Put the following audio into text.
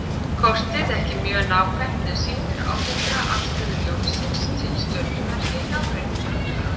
Kortið er ekki mjög nákvæmt en sýnir ágætlega afstöðu Ljónsins til stjörnumerkja í nágrenninu.